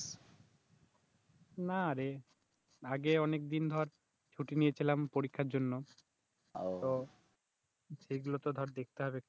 নারে আগে অনেকদিন ধর ছুটি নিয়েছিলাম পরীক্ষার জন্য, উহ তো সেগুলো তো ধর দেখতে হবে একটু